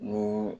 Ni